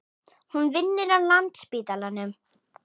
Hún vinnur á Landspítalanum.